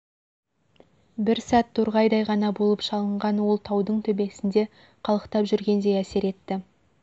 бір сәт торғайдай ғана болып шалынған ол таудың төбесінде қалықтап жүргендей әсер етті